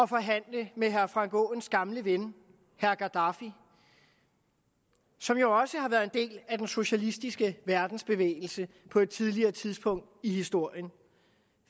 forhandle med herre frank aaens gamle ven herre gaddafi som jo også har været en del af den socialistiske verdensbevægelse på et tidligere tidspunkt i historien